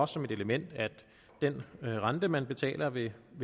som et element at den rente man betaler ved